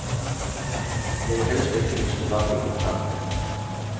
Jeg vil helst ikke miste bakkekontakten.